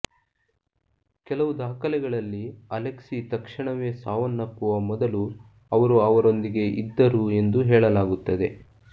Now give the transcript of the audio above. ಕೆಲವು ದಾಖಲೆಗಳಲ್ಲಿ ಅಲೆಕ್ಸಿ ತಕ್ಷಣವೇ ಸಾವನ್ನಪ್ಪುವ ಮೊದಲು ಅವರು ಅವರೊಂದಿಗೆ ಇದ್ದರು ಎಂದು ಹೇಳಲಾಗುತ್ತದೆ